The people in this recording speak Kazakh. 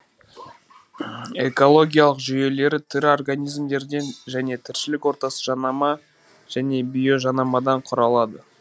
экологиялық жүйелер тірі организмдерден және тіршілік ортасы жанама және биожанамадан құралады